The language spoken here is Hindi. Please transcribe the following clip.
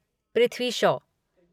पृथ्वी शॉ